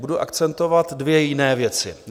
Budu akcentovat dvě jiné věci.